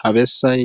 Ha bessay